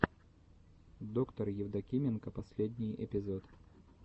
доктор евдокименко последний эпизод